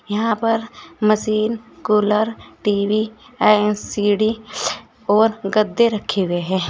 यहां पर machine cooler TV LCD और गद्दे रखे हुए हैं।